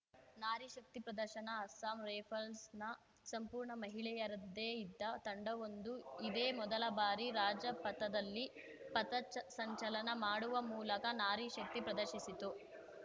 ನಾರಿ ಶಕ್ತಿ ಪ್ರದರ್ಶನ ಅಸ್ಸಾಂ ರೈಫಲ್ಸ್‌ನ ಸಂಪೂರ್ಣ ಮಹಿಳೆಯರ್ದ್ದೇ ಇದ್ದ ತಂಡವೊಂದು ಇದೇ ಮೊದಲ ಬಾರಿ ರಾಜಪಥದಲ್ಲಿ ಪಥಸಂಚಲನ ಮಾಡುವ ಮೂಲಕ ನಾರಿ ಶಕ್ತಿ ಪ್ರದರ್ಶಿಸಿತು